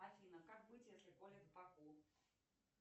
афина как быть если колет в боку